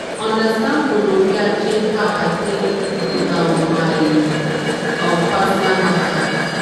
to understand gonorrhea change how i dey take do um my um personal matter.